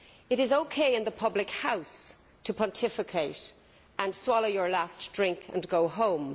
It is OK in the public house to pontificate and swallow your last drink and go home.